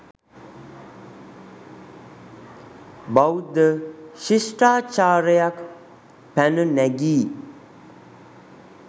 බෞද්ධ ශිෂ්ටාචාරයක් පැන නැගී